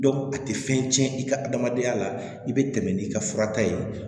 a tɛ fɛn cɛn i ka adamadenya la i bɛ tɛmɛ n'i ka fura ta ye